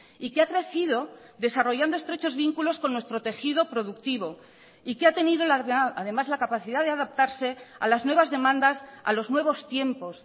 y que ha crecido desarrollando estrechos vínculos con nuestro tejido productivo y que ha tenido además la capacidad de adaptarse a las nuevas demandas a los nuevos tiempos